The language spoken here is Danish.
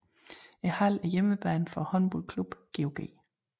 Hallen er hjemmebane for håndboldklubben GOG